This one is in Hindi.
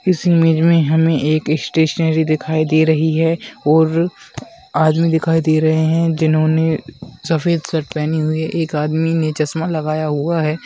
इस इमेज में हमें एक स्टेशनरी दिखाई दे रही है और आदमी दिखाई दे रहे हैं जिन्होंने सफेद शर्ट पहनी हुई एक आदमी ने चश्मा लगाया हुआ है।